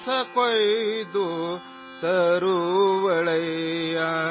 سو جاؤ، سو جاؤ،